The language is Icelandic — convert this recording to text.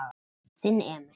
Þinn Emil.